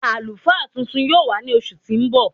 Alúfá tuntun yóò wà ní oṣù tí n bọ.